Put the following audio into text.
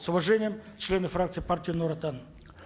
с уважением члены фракции партии нур отан